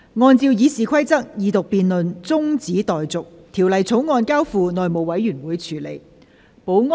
按照《議事規則》，二讀辯論中止待續，《條例草案》交付內務委員會處理。